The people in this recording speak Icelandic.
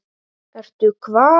Ertu hvað?